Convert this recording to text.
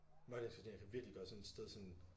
Mørklægningsgardiner kan virkelig gøre sådan et sted sådan